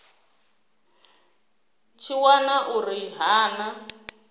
tshi wana uri ha na